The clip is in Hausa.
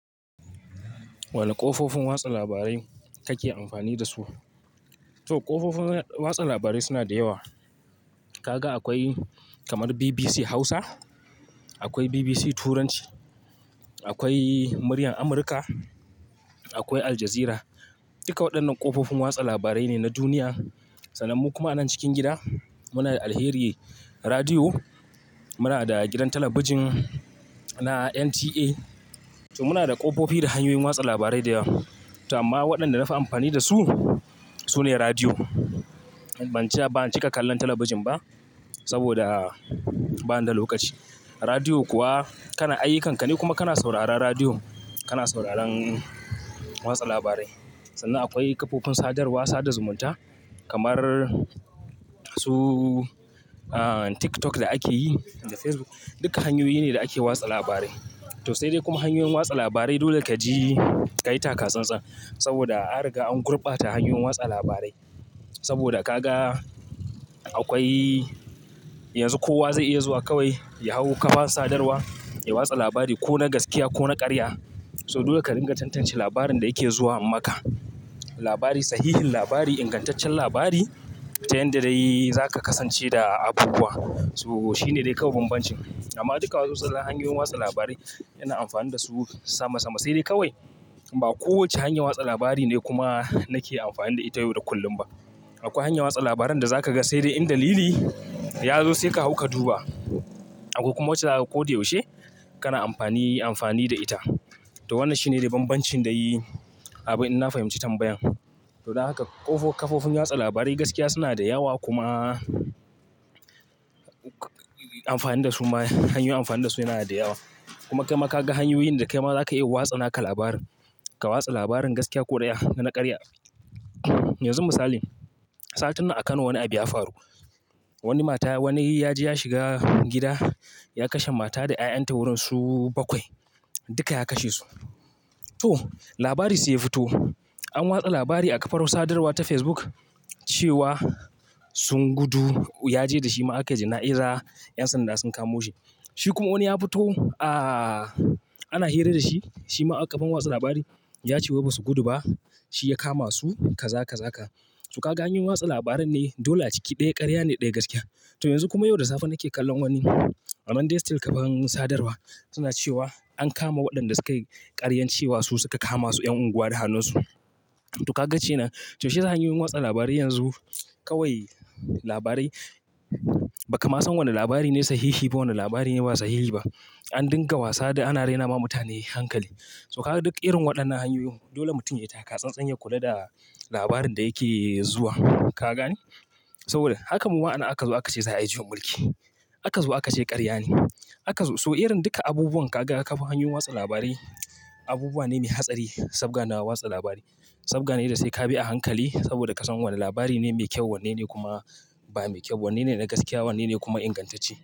Wane ƙofofin watsa labarai kake amfani dasu? To, ƙofofin watsa labarai suna da yawa. Kaga akwai kamar BBC Hausa, akwai BBC Turanci, akwai Muryan Amurka, akwai Aljazeera. Duka waɗannan ƙofofin watsa labarai ne na duniya. Sannan kuma a nan cikin gida muna da Alheriyya Radiyo, muna da gidan talabijin na NTA. To muna da ƙofofi da hanyoyin watsa labarai da yawa. To amma waɗanda nafi amfani dasu sune radiyo. Ban cika kallon talabijin ba saboda bani da lokaci. Radiyo kuwa kana aiyukan ka ne kuma kana sauraron radiyo, kana sauraron watsa labarai. Sannan akwai ƙofofin sadarwa sada zumunta kamar su TikTok da ake yi da Facebook. Duka hanyoyi ne da ake wasa labarai. To sai dai kuma hanyoyin watsa labarai dole kaji ka yi taka tsantsa saboda an riga an gurɓata hanyoyin watsa labarai. Saboda ka ga akwai yanzu kowa zai iya zuwa kawai ya hau kafar sadarwa ya watsa labari ko na gaskiya ko na ƙarya. So dole ka dinga tantance labarin da yake zuwa maka. Labari, sahihin labari, ingantaccen labari ta yanda dai zaka kasance da abubuwa. To shine dai kawai banbanci. Amma duka wasu hanyoyin watsa labarai ana amfani dasu sama sama sai dai kawai ba kowace hanya watsa labari ne kuma nake amfani da ita yau da kullum ba. Akwai hanyar watsa labaran da zaka ga sai dai inda lili ya yazo sai ka hau ka duba. Akwai kuma wacce ko da yaushe kana amfani, amfani da ita. To wannan shine dai banbancin da yayi abin ina fahimci tambayan. To don haka ƙofofin watsa labarin gaskiya suna da yawa kuma amfani dasu ma, hanyoyin amfani dasu yana da yawa. Kuma kai ma ka ga hanyoyin da kai ma za ka iya watsa naka labari. Ka watsa labarin gaskiya ko ɗaya na ƙarya. Yanzu misali, satin nan a Kano wani abu ya faru. Wani mata, wani ya je ya shiga gida ya kashe mata da 'ya'yanta wurin su bakwai. Duka ya kashe su. To labari sai ya fito. An watsa labari a kafar sadarwa ta Facebook cewa sun gudu. Ya je da shi ma aka jana'iza. 'Yan sanda sun kamo shi. Shi kuma wani ya fito ana hira da shi. Shi ma a kafar wasa labari ya ce wai ba su gudu ba, shi ya kama su kaza kaza ka. To ka ga hanyoyin watsa labaran ne dole a ciki ɗaya ƙarya ne ɗaya gaskiya. To yanzu kuma yau da safe nake kallon wani amma still kamar sadarwa suna cewa an kama waɗanda suka yi ƙaryan cewa su suka kama su 'yan unguwa da hannunsu. To ka ga kenan to shi ya sa hanyoyin watsa labarai yanzu kawai labarai ba ka ma san wane labari ne sahihi ba wane labari ne ba sahihi ba. An dinga wasa da ana raina ma mutane hankali. To ka ga duk irin waɗannan hanyoyin dole mutum ya yi taka tsantsanyi kula da labarin da yake zuwa. Ka gane? Saboda haka mu ma anan aka ce za a yi jumri. Haka zuwa aka ce ƙarya ne. Haka zuwa. So irin duka abubuwan ka ga kafar hanyoyin watsa labarai abubuwa ne mai hatsari saboda suna watsa labarai. Sabga ne da sai ka bi a hankali saboda ka san wane labari ne mai kyau wanne ne kuma ba mai kyau. Wanne ne na gaskiya wanne ne kuma ingantacce.